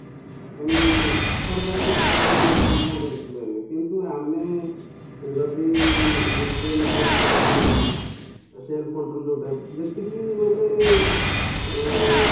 ତେଣୁ ସରକାର ବି ହାତ ବନ୍ଧୀକି ରହିଛନ୍ତି କ'ଣ କରିପାରିବେ କିନ୍ତୁ ଆମେ ଯଦି ନିଜେ ନିଜକୁ control କରିକି self control ଯୋଉଟା ଯେତିକି ମାନେ ଅଂ